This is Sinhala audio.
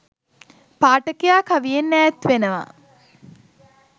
පාඨකයා කවියෙන් ඈත් වෙනවා